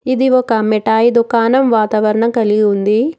ఇది ఒక మిఠాయి దుకాణం వాతావరణం కలిగి ఉంది.